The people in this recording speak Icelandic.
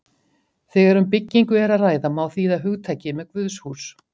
Þegar um byggingu er að ræða má þýða hugtakið með guðshús.